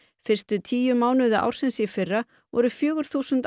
fyrstu tíu mánuði ársins í fyrra voru fjögur þúsund